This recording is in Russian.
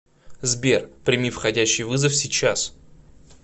сбер прими входящий вызов сейчас